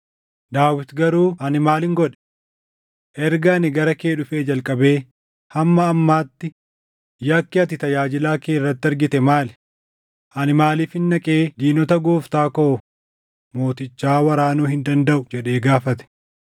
Daawit, “Garuu ani maalin godhe? Erga ani gara kee dhufee jalqabee hamma ammaatti yakki ati tajaajilaa kee irratti argite maali? Ani maaliifin dhaqee diinota gooftaa koo mootichaa waraanuu hin dandaʼu?” jedhee gaafate.